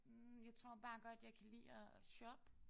Hm jeg tror bare godt jeg kan lide at at shoppe